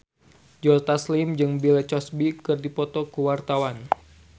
Joe Taslim jeung Bill Cosby keur dipoto ku wartawan